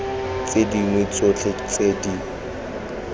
tse dingwe tsotlhe tse di